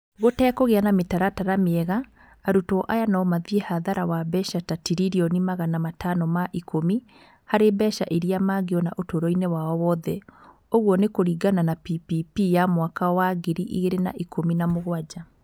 Gũtekũgĩa na mĩtaratara mĩega, arutwo aya no mathiĩ hathara wa mbeca ta tiririoni magana matano ma ikũmi harĩ mbeca iria mangĩona ũtũũro-inĩ wao wothe (kũringana na PPP ya mwaka wa ngiri igĩrĩ na ikũmi na mũgwanja).